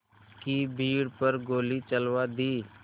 की भीड़ पर गोली चलवा दी